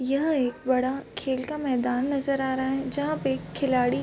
यह एक बड़ा खेल का मैदान नजर आ रहा है जहाँ पे एक खिलाडी --